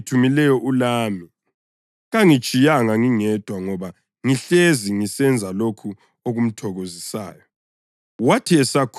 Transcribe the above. Lowo ongithumileyo ulami; kangitshiyanga ngingedwa ngoba ngihlezi ngisenza lokho okumthokozisayo.”